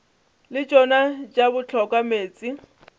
le tšona tša hloka meetse